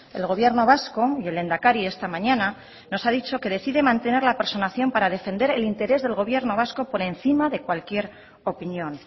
el gobierno vasco y el lehendakari esta mañana nos ha dicho que decide mantener la personación para defender el interés del gobierno vasco por encima de cualquier opinión